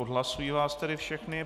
Odhlašuji vás tedy všechny.